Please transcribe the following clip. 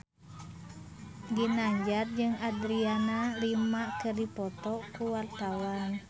Ginanjar jeung Adriana Lima keur dipoto ku wartawan